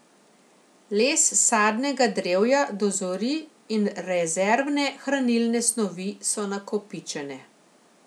Les sadnega drevja dozori in rezervne hranilne snovi so nakopičene.